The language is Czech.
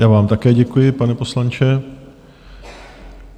Já vám také děkuji, pane poslanče.